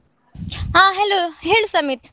ಹಾ hello ಹೇಳು ಸಮಿತ್.